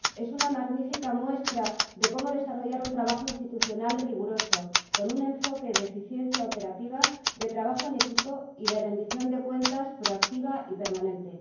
Es una magnífica muestra de cómo desarrollar un trabajo institucional riguroso, con un enfoque de eficiencia operativa, de trabajo en equipo y de rendición de cuentas proactiva y permanente.